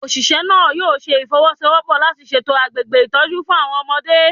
Oṣiṣẹ naa yoo ṣe ifowosowopo lati ṣetọju agbegbe itọju fun awọn ọmọde